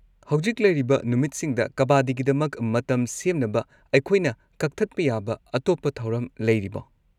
ꯍꯧꯖꯤꯛ ꯂꯩꯔꯤꯕ ꯅꯨꯃꯤꯠꯁꯤꯡꯗ ꯀꯕꯥꯗꯤꯒꯤꯗꯃꯛ ꯃꯇꯝ ꯁꯦꯝꯅꯕ ꯑꯩꯈꯣꯏꯅ ꯀꯛꯊꯠꯄ ꯌꯥꯕ ꯑꯇꯣꯞꯄ ꯊꯧꯔꯝ ꯂꯩꯔꯤꯕꯣ?